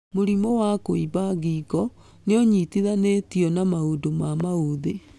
Mũrimũ wa kũimba ngingo nĩũnyitithanĩtio na maũndũ ma maũthĩ